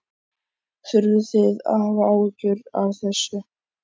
Þurfið þið að hafa áhyggjur af þessu?